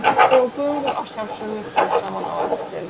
Og göngum að sjálfsögðu frá saman á eftir.